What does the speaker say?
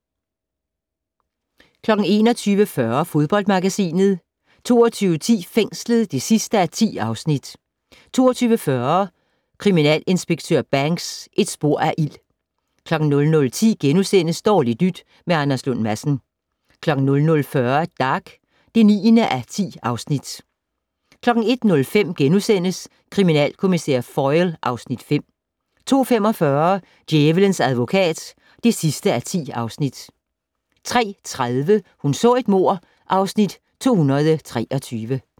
21:40: Fodboldmagasinet 22:10: Fængslet (10:10) 22:40: Kriminalinspektør Banks: Et spor af ild 00:10: Dårligt nyt med Anders Lund Madsen * 00:40: Dag (9:10) 01:05: Kriminalkommissær Foyle (Afs. 5)* 02:45: Djævelens advokat (10:10) 03:30: Hun så et mord (Afs. 223)